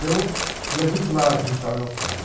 Eu ia muito lá visitar meu pai.